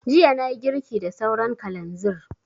Jiya na yi girki da sauran kalanzir